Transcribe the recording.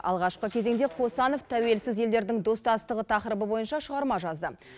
алғашқы кезеңде қосанов тәуелсіз елдердің достастығы тақырыбы бойынша шығарма жазды